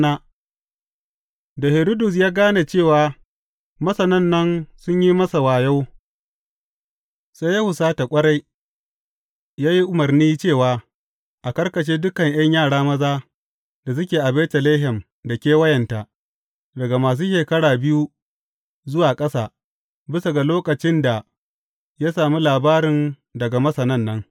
Da Hiridus ya gane cewa Masanan nan sun yi masa wayo, sai ya husata ƙwarai, ya yi umarni cewa a karkashe dukan ’yan yara maza da suke a Betlehem da kewayenta, daga masu shekara biyu zuwa ƙasa, bisa ga lokacin da ya sami labarin daga Masanan nan.